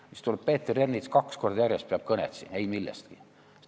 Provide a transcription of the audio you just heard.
Ja ometi tuleb Peeter Ernits kaks korda järjest pulti ja peab kõnet ei millestki.